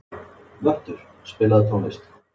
Vöttur, spilaðu tónlist.